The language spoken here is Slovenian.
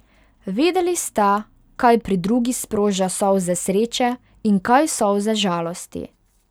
Vedeli sta, kaj pri drugi sproža solze sreče in kaj solze žalosti.